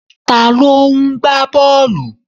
Ta ló ń gbá bọ́ọ̀lù?